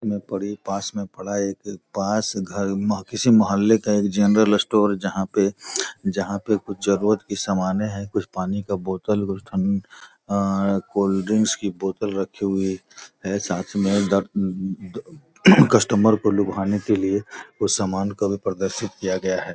ऊ पड़ी पास में पड़ा एक पास घर मा किसी महौले का एक जनरल स्टोर जहाँ पे कुछ जरूरत की सामाने है कुछ पानी का बोतल कुछ ठंड अ कोल्ड ड्रिंक्स की बोतल रखे हुए है साथ में कस्टमर को लुभाने के लिए कुछ सामान का भी प्रदर्शित किया गया है |